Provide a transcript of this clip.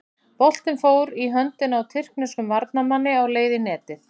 Boltinn fór í höndina á tyrkneskum varnarmanni á leið í netið.